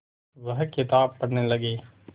वह किताब पढ़ने लगे